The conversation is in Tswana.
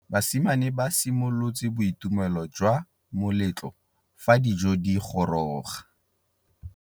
Basimane ba simolotse boitumêlô jwa moletlo fa dijo di goroga.